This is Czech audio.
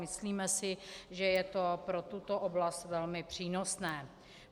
Myslíme si, že je to pro tuto oblast velmi přínosné.